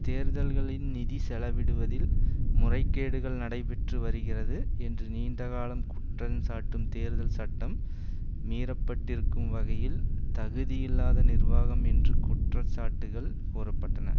தேர்தல்களின் நிதி செலவிடுவதில் முறைகேடுகள் நடைபெற்று வருகிறது என்ற நீண்டகாலம் குற்றச்சாட்டும் தேர்தல் சட்டம் மீறப்பட்டிருக்கும் வகையில் தகுதியில்லாத நிர்வாகம் என்று குற்றச்சாட்டுகள் கூற பட்டன